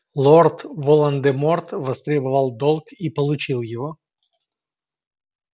лорд волан-де-морт востребовал долг и получил его